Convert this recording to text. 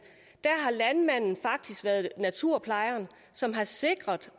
har landmanden faktisk været naturplejer som har sikret